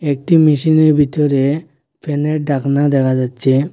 একটি মেশিনের ভিতরে ফ্যানের ডাকনা দেখা যাচ্ছে।